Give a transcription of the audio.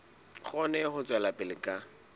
kgone ho tswela pele ka